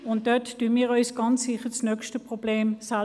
Damit handeln wir uns ganz sicher das nächste Problem ein.